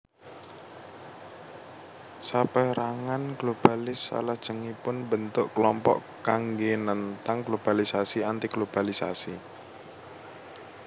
Sapérangan globalis salajengipun mbentuk klompok kanggé nentang globalisasi antiglobalisasi